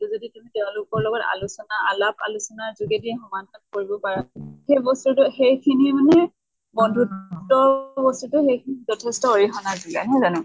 টো যদি তেওঁলোকৰ লগত আলোচনা আলাপ আলোচনা যোগেদি সমাধান কৰিব পাৰা। সেই বস্তুটো সেই খিনি মানে বন্ধুত্ব বস্তুটো সেই খিনিত যিথেষ্ট অৰিহনা যোগায়, নহয় জানো?